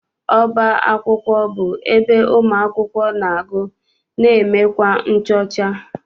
Ọba akwụkwọ bụ ebe ụmụakwụkwọ na- agụ na emekwa nchọcha.